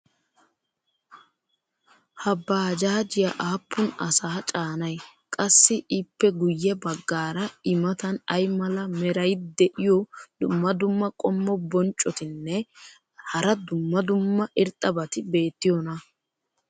ha baajjajiya aappun asaa caanay? qassi ippe guye bagaara i matan ay mala meray diyo dumma dumma qommo bonccotinne hara dumma dumma irxxabati beetiyoonaa?